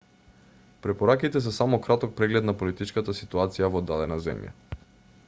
препораките се само краток преглед на политичката ситуација во дадена земја